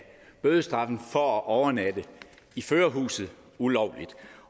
bødestraffen for at overnatte i førerhuset ulovligt